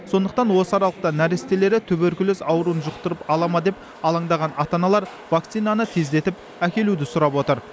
сондықтан осы аралықта нәрестелері туберкулез ауруын жұқтырып ала ма деп алаңдаған ата аналар вакцинаны тездетіп әкелуді сұрап отыр